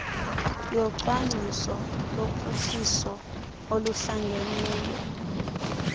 yocwangciso lophuhliso oluhlangeneyo